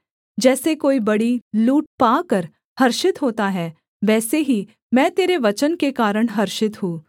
जैसे कोई बड़ी लूट पाकर हर्षित होता है वैसे ही मैं तेरे वचन के कारण हर्षित हूँ